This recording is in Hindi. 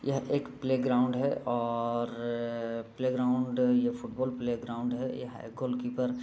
यह एक प्लेग्राउंड है और प्लेग्राउंड ये फुटबॉल प्लेग्राउंड है ये है गोल कीपर ।